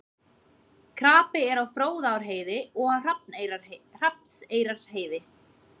Krapi er á Fróðárheiði og Hrafnseyrarheiði